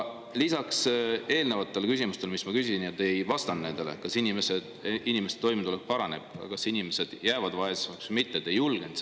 Eelnevatele küsimustele, mis ma küsisin – kas inimeste toimetulek paraneb ja kas inimesed jäävad vaesemaks või mitte –, te ei vastanud.